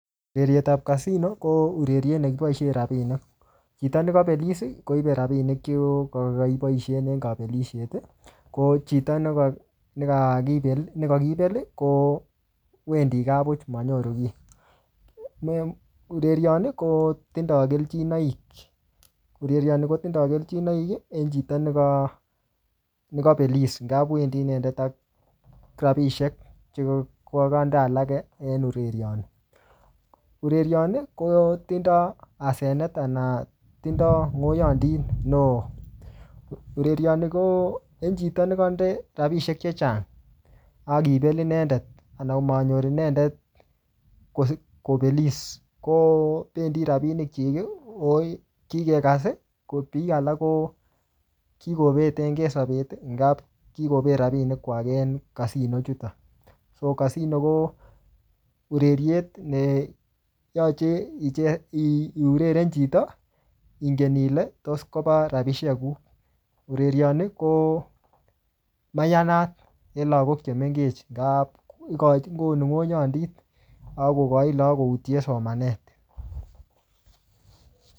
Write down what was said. Ureriet ap casino, ko ureriet ne kiboisie rabinik. Chito nekabelis, koibe rabinik che koka kaboisen en kabelisiet. Ko chito ne ka-ne kakipel, kowendi gaa buch manyoru kiy. um Ureriot ni, kotindoi keljinoik. Ureriot ni, kotindoi keljinoik, en chito neka-nekabelis nga kowendi inendet ak rabisiek che koka-kande alake en ureriot ni. Ureriot ni, kotindoi asenet, anan tindoi ngoyandit neoo. Ureriot ni ko eng chito nekande rabisiek chechang, akibel inendet, anan komanyor inendet kobelis, kobendi rabinik chik, koip kikekas. Ko biik alak ko kikobetnke sapet, ngap kikobet rabinik kwak en casino chutok. Ko casino ko ureriet neyache iuereren chito, ingen ile tos kopa rabisiek guk. Ureriot ni, ko mayanat eng lagok che mengech. Ngaa konu ngoyandit, akokochin lagok koutie somanet